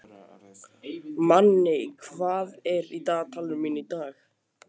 Manni, hvað er í dagatalinu mínu í dag?